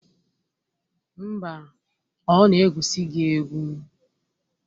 Mba, ọ na-egwusi gị egwu